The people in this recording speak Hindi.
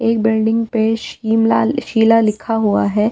एक बिल्डिंग पे शीमला शीला लिखा हुआ है।